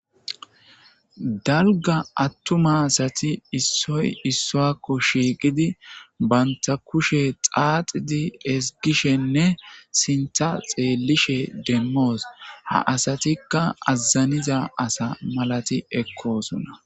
dalga attuma asati issoy issowakko shiiqidi banta kushe xaaxidi esgishenne sinta xeellishe demmoos ha asatikka azaniza asa malati ekkosona